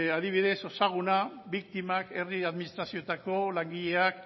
adibidez ezaguna biktimak herri administrazioetako langileak